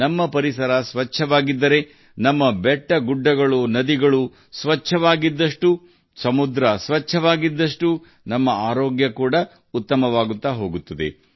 ನಮ್ಮ ಪರಿಸರ ಸ್ವಚ್ಛವಾಗಿದ್ದರೆ ನಮ್ಮ ಪರ್ವತಗಳು ಮತ್ತು ನದಿಗಳು ನಮ್ಮ ಸಮುದ್ರಗಳು ಸ್ವಚ್ಛವಾಗಿ ಉಳಿಯುತ್ತವೆ ನಮ್ಮ ಆರೋಗ್ಯವೂ ಸುಧಾರಿಸುತ್ತದೆ